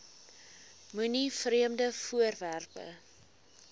moenie vreemde voorwerpe